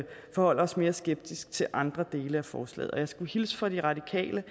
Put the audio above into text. forholder os mere skeptiske til andre dele af forslaget jeg skal hilse fra de radikale